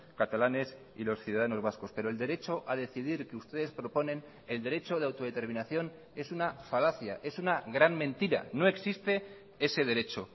catalanes y los ciudadanos vascos pero el derecho a decidir que ustedes proponen el derecho de autodeterminación es una falacia es una gran mentira no existe ese derecho